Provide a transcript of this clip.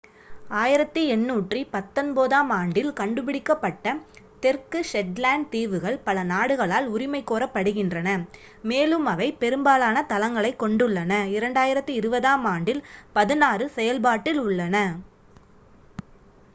1819-ஆம் ஆண்டில் கண்டுபிடிக்கப்பட்ட தெற்கு ஷெட்லேண்ட் தீவுகள் பல நாடுகளால் உரிமை கோரப்படுகின்றன மேலும் அவை பெரும்பாலான தளங்களைக் கொண்டுள்ளன 2020-ஆம் ஆண்டில் பதினாறு செயல்பாட்டில் உள்ளன